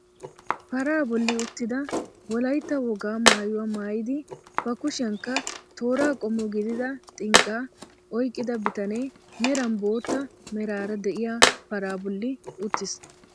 Paraa bolli uttida wolaytta wogaa maayuwaa maayidi ba kushiyaanikka tooraa qommo gidida xinqqaa oyqqida bitanee meran bootta meraara de'iyaa paraa bolli uttiis.